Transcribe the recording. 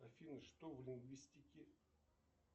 афина что в лингвистике